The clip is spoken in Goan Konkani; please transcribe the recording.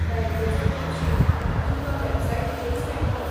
बँकेचो तपशील तुमकां वॅबसायटीचेरच मेळटलो.